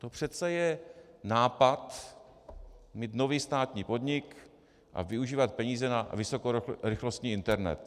To přece je nápad mít nový státní podnik a využívat peníze na vysokorychlostní internet.